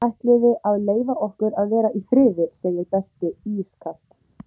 Ætliði að leyfa okkur að vera í friði, segir Berti ískalt.